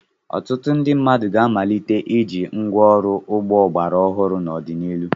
Ọtụtụ ndị mmadụ ga-amalite iji ngwa ọrụ ugbo ọgbara ọhụrụ n'ọdịnihu.